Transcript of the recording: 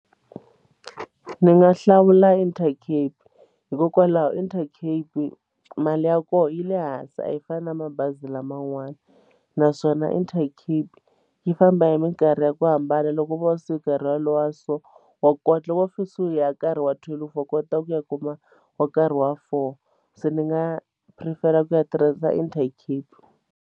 Ni nga hlawula Intercape hikokwalaho Intercape mali ya kona yi le hansi a yi fani na mabazi laman'wana naswona Intercape yi famba hi minkarhi ya ku hambana loko vo suka hi ra lowa so wa kota wo kusuhi ya nkarhi wa twelve wa kota ku ya kuma wa nkarhi wa four se ni nga prefere ku ya tirhisa Intercape.